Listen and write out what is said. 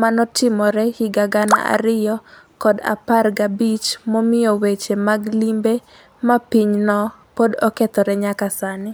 manotimre higa gana ariyo kod apar ga'bich momiyo weche mag limbe ma pinyo pod okethre nyaka sani